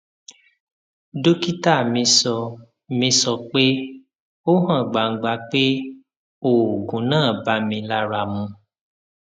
dókítà mi sọ mi sọ pé ó hàn gbangba pé oògùn náà bá mi lára mu